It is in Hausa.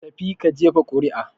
Ka tafi ka jefa ƙuri'a!